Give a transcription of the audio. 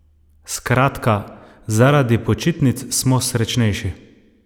Skratka, zaradi počitnic smo srečnejši!